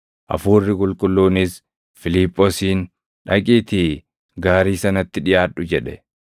Hafuurri Qulqulluunis Fiiliphoosiin, “Dhaqiitii gaarii sanatti dhiʼaadhu” jedhe.